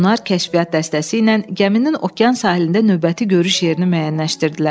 Onlar kəşfiyyat dəstəsi ilə gəminin okean sahilində növbəti görüş yerini müəyyənləşdirdilər.